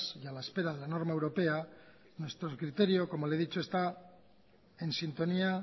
y a la espera de la norma europea nuestro criterio como ya le he dicho está en sintonía